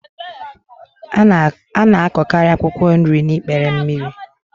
A na-akọkarị akwụkwọ nri n'ikpere mmiri.